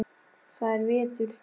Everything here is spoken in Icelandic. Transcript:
Það er vetur.